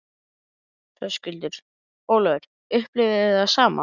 Höskuldur: Ólafur, upplifið þið það sama?